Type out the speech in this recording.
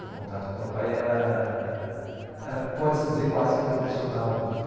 meu contato com meu pai era... era, pode-se dizer, quase que profissional.